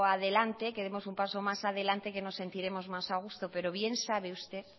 adelante que demos un paso más adelante que nos sentiremos más a gusto pero bien sabe usted